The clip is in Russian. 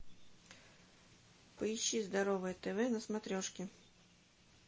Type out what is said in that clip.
поищи здоровое тв на смотрешке